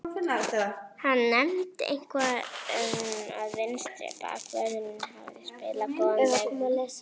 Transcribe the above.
Hann nefndi eitthvað um að vinstri bakvörðurinn hafi spilað góðan leik.